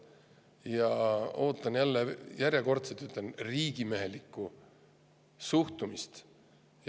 Ja ootan – jälle, järjekordselt ütlen – riigimehelikku suhtumist.